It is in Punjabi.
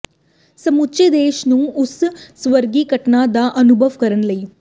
ਸਮੁੱਚੇ ਦੇਸ਼ ਨੂੰ ਉਸ ਸਵਰਗੀ ਘਟਨਾ ਦਾ ਅਨੁਭਵ ਕਰਨ ਲਈ